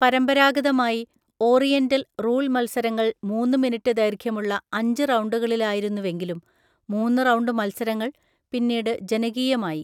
പരമ്പരാഗതമായി oriental rule മത്സരങ്ങൾ മൂന്ന്‌ മിനിറ്റ് ദൈർഘ്യമുള്ള അഞ്ച് റൗണ്ടുകളിലായിരുന്നുവെങ്കിലും മൂന്ന്‌ റൗണ്ട് മത്സരങ്ങൾ പിന്നീട് ജനകീയമായി.